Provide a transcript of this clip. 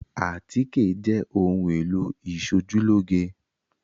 Àtíkè jẹ́ ohun-èlò ìṣojúlóge.